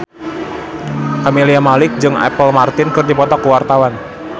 Camelia Malik jeung Apple Martin keur dipoto ku wartawan